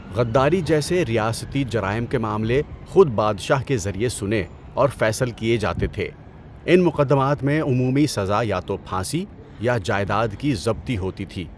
غداری جیسے ریاستی جرائم کے معاملے خود بادشاہ کے ذریعے سنے اور فیصل کیے جاتے تھے، ان مقدمات میں عمومی سزا یا تو پھانسی یا جائیداد کی ضبطی ہوتی تھی۔